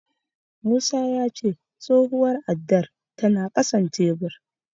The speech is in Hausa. Musa ya ce tsohuwar addar tana ƙasan tebur.